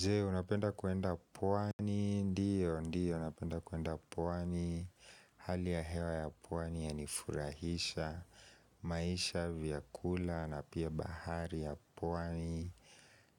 Je, unapenda kuenda pwani? Ndio, ndio, napenda kuenda pwani. Hali ya hewa ya pwani yanifurahisha. Maisha, vyakula, na pia bahari ya pwani